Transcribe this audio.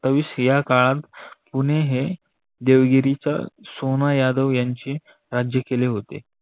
सतावीस या काळात पुणे हे देवगिच्या सोना यादव यांची राज्यं केले होते.